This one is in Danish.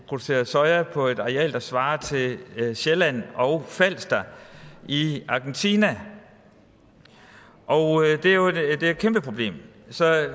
produceres soja på et areal der svarer til sjælland og falster i argentina og det er et kæmpeproblem så